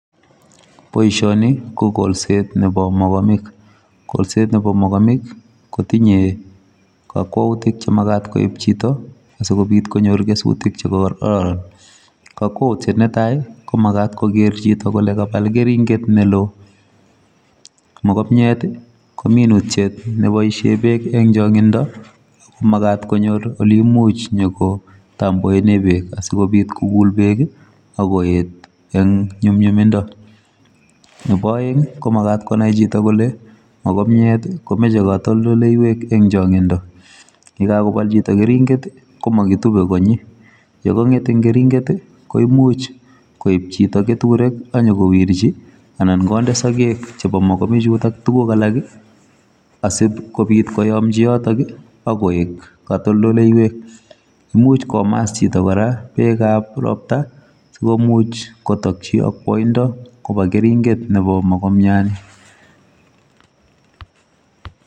Boisoni, ko golset nebo mogomik. Golset nebo mogomik, kotinye kakwoutik che magat koib chito, asikobit konyor kesutik che um kararan. Kakwoutiet ne tai, ko magat koger chito kole kabal keringet ne loo. Mogomiet, ko minutiet ne boisie beek eng' changindo, ago magat konyor ole imuch nyikotamboene beek, asikobit kogul beek akoet eng' nyumnyumindo. Nebo aeng', ko magat konai chito kole, mogomiet komeche katoldoleiwek eng' chang'indo. Yekakobal chito keringet, ko makitube konyi. Yekang'et eng' keringet, koimuch koib chito keturek ak nyikowirchi, anan konde sagek chebo mogobik chutok tuguk alak, asipkobit koyomchi yotok, akoek katoldoleiwek. Imuch komas chito kora bekab ropta, sikomuch kotokchi akwoindo koba keringet nebo mogomiat ni